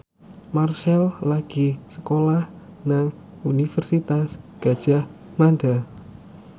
Marchell lagi sekolah nang Universitas Gadjah Mada